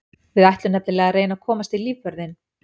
Við ætlum nefnilega að reyna að komast í lífvörðinn.